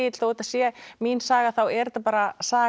að þetta sé mín saga þá er þetta bara saga